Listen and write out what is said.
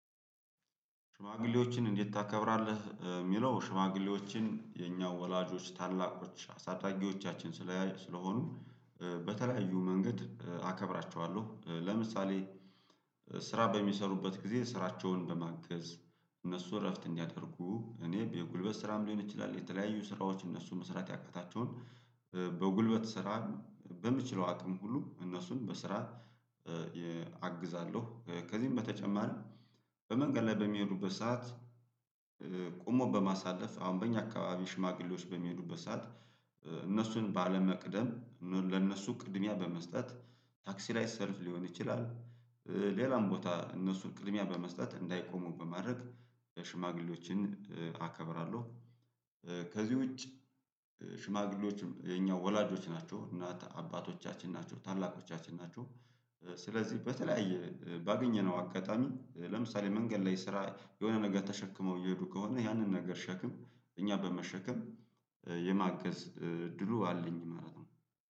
ሽማግሌዎችን እንዴት ታከብራለህ? የሚለው ሽማግሌዎችን የኛው ወላጆች ታላቆች አሳዳጊዎቻችን ስለሆኑ በተለያዩ መንገድ አከብራቸዋለሁ። ለምሳሌ ስራ በሚሰሩበት ጊዜ ስራቸውን በማገዝ። እነሱ እረፍት እንዲያደርጉ እኔ በጉልበት ስራም ሊሆን ይችላል የተለያዩ ስራዎች እነሱ መስራት ያቃታቸውን። በጉልበት ስራ በምችለው አቅም ሁሉ እነሱን በስራ አግዛለሁ። ከዚህም በተጨማሪም በመንገድ ላይ በሚሄዱበት ሰዓት። ቆሞ በማሳለፍ አሁን በእኛ አካባቢ ሽማግሌዎች በሚሄዱበት ሰዓት እነሱን ባለመቅደም ለነሱ ቅድሚያ በመስጠት ታክሲ ላይ ሰልፍ ሊሆን ይችላል። ሌላም ቦታ እነሱን ቅድሚያ በመስጠት እንዳይቆሙ በማድረግ ሽማግሌዎችን አከብራለሁ። ከዚህ ውጭ ሽማግሌዎች የኛ ወላጆች ናቸው እናት አባቶቻችን ናቸው ታላቆቻችን ናቸው። ስለዚህ በተለያየ ባገኘነው አጋጣሚ ለምሳሌ መንገድ ላይ ስራ የሆነ ነገር ተሸክመው እየሄዱ ከሆነ ያንን ነገር ሸክም እኛ በመሸከም የማገዝ ድሉ አለኝ ማለት ነው